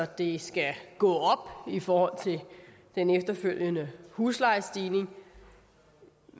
det skal gå op i forhold til den efterfølgende huslejestigning